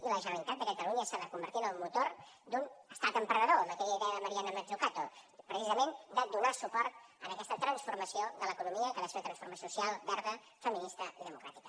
i la generalitat de catalunya s’ha de convertir en el motor d’un estat emprenedor amb aquella idea de mariana mazzucato precisament de donar suport a aquesta transformació de l’economia que ha de ser una transformació social verda feminista i democràtica